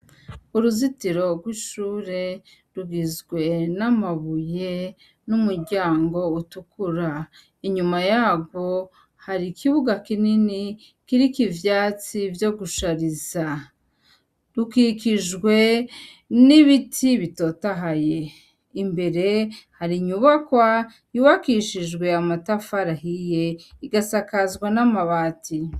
Uruzitiro rw'ishure, rugizwe n'amabuye n'umuryango utukura; inyuma yarwo hari ikibuga kinini kiriko ivyatsi vyo gushariza; rukikijwe n'ibiti bitotahaye; imbere hari inyubakwa yubakishijwe amatafari ahiye igasakazwa n'amabati.